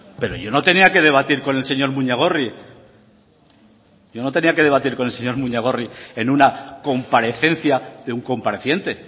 pero yo no tenía que debatir con el señor muñagorri yo no tenía que debatir con el señor muñagorri en una comparecencia de un compareciente